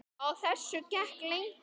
Á þessu gekk lengi.